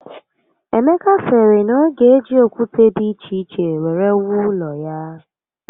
Emeka siri na o ga eji okwute di iche iche were wuo ulo ya